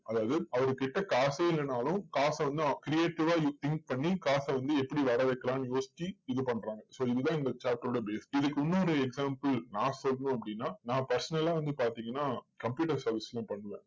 அதாவது, அவர்கிட்ட காசே இல்லை என்றாலும் காசு வந்து creative ஆ think பண்ணி, காச வந்து எப்படி வர வைக்கலாம்னு யோசிச்சு, இது பண்றாங்க. இதுதான் இந்த chapter ஓட base இதுக்கு இன்னொரு example நான் சொல்லணும் அப்படின்னா, நான் personal ஆ வந்து பாத்தீங்கன்னா computer service உம் பண்ணுவேன்.